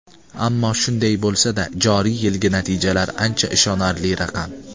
Ammo shunday bo‘lsada, joriy yilgi natijalar ancha ishonarli raqam.